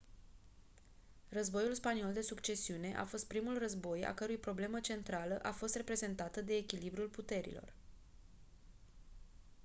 războiul spaniol de succesiune a fost primul război a cărui problemă centrală a fost reprezentată de echilibrul puterilor